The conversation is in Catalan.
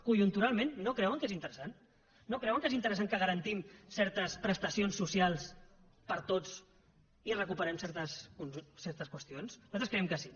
conjunturalment no creuen que és interessant no creuen que és interessant que garantim certes prestacions socials per a tots i recuperem certes qüestions nosaltres creiem que sí